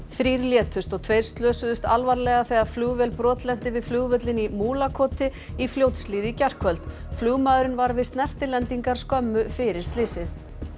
þrír létust og tveir slösuðust alvarlega þegar flugvél brotlenti við flugvöllinn í Múlakoti í Fljótshlíð í gærkvöld flugmaðurinn var við snertilendingar skömmu fyrir slysið